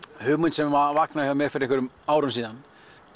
hugmynd sem vaknaði hjá mér fyrir einhverjum árum síðan